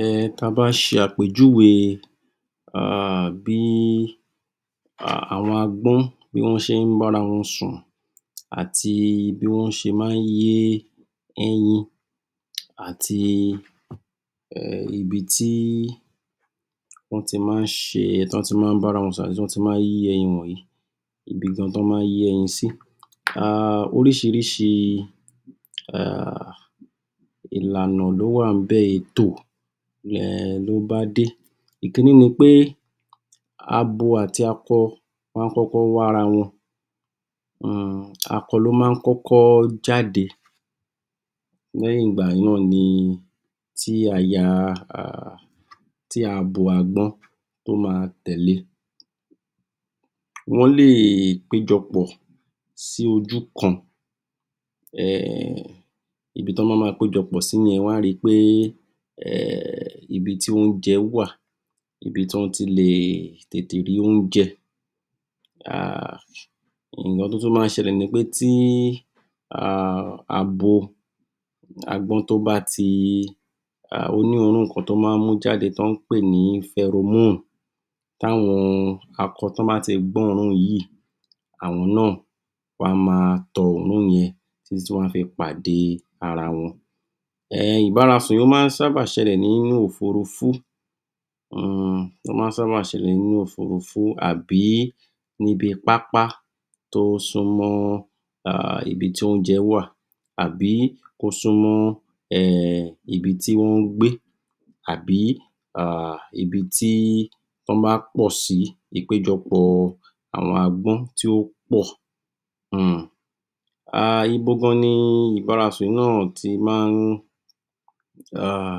um ta bá ṣe àpèjúwe um bí àwọn agbọ́n bí wọ́n ṣe ń bára wọn sùn àti bí wọ́n ṣe máa ń yé ẹyin àti ibi tí wọ́n ti máa ń ṣe, wọn má a ń bára wọn sùn àti ibi tí wọ́n ti máa ń yé ẹyin wọ̀nyí ibi gan tó máa ń yé ẹyin sí, um oríṣìiríṣìi ìlànà ló wà ń bẹ̀, ètò um ló bá dé. Ìkinní ni pé, abo àti akọ wọ́n ma kọ́kọ́ wá ara wọn, um ako ló máa ń kọ́kọ́ jáde lẹ́yìn ìgbà náà ni tí abo agbọ́n ó ma tẹ̀le, wọ́n lè pé jọ pọ̀ sí ojú kan um ibi tí wọ́n bá ma pé jọ pọ̀ sí yẹn, wọ́n á ri pé ibi tí oúnje wà, ibi tí wọ́n ti tètè le rí oúnjẹ um nǹkan tó tún máa ń ṣẹlẹ̀ ni pè tí um abo agbọ́n tó bá ti ó ní òórùn kan tí ó máa ń mú jáde tó ń pè ni, ti àwọn akọ, tó bá ti gbọ́ òórùn yìí àwọn náà wọn á ma tọ òórùn yẹn títí tí wọn á fi pàdé ara wọn. um Ìbárasùn ó máa ń sába ṣẹlẹ̀ ní òfurufú àbí níbi pápá tó súmọ́ um ibi tí oúnjẹ wà, àbí ó súnmọ́ um ibi tí wọ́n ń gbé, àbí ibi tí wọ́n bá pọ̀ sí; ìpéjọpọ̀ àwọn agbọ́n tí wọ́n pọ̀ um. um Ibo gan-an ni ìbárasùn yìí náà ti máa ń um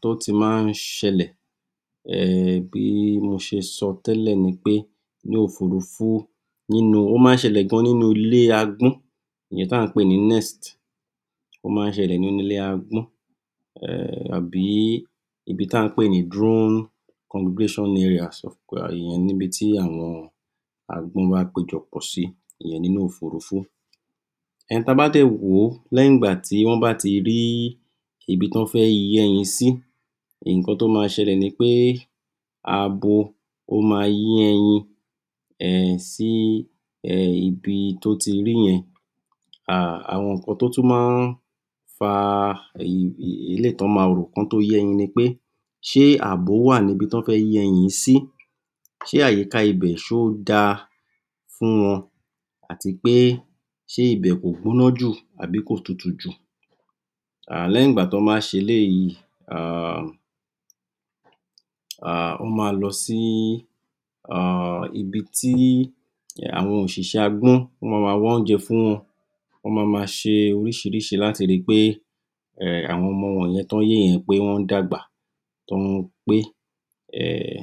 tó ti máa ń ṣẹlẹ̀?, um gẹ́gẹ́ bí mo ṣe sọ tẹ́lẹ̀ pé ní òfurufú, ó máa ń ṣẹlẹ̀ gan nínú ilé agbọ́n (Nest) ó máa ń ṣẹlẹ̀ nínú ilé agbọ́n àbí ibi tí à ń pè ní, ìyẹn níbi tí àwọn agbọ́n bá pé jọpọ̀ sí ìyẹn nínú òfurufú. Ta bá dè wò ó, lẹ́yìn ìgbà tí wọ́n bá ti rí ibi tí wọ́n fẹ́ yẹ́ ẹyin sí, nǹkan tó ma ṣẹlè ni pé, abo ma yé ẹyin sí ibi tó ti rí yẹn, um àwọn nǹkan tó tún máa ń fa eléyì tó ma rò kí wọ́n tó yé ẹyin ni pé; ṣé àbò wà níbi tọ́ fẹ́ yé ẹyin yìí sí?, ṣe àyíká ibẹ̀ ṣó da fún wọn?, àti pé ṣe ibẹ̀ kò gbọ́ná jù àbi kò tutù jù?, lẹ́yìn ìgbà tó bá ṣe eléyìí um wọ́n ma lọ sí um ibi tí àwọn òṣiṣẹ́ agbọ́n ma ma wá oúnjẹ fún wọn, wọ́n ma ma ṣe oríṣìiríṣìi láti ri pé àwọn ọmọ wọ̀n yẹn tọ́ ń yé yẹn pé wọ́n ń dàgbà tọ́ ń pé um.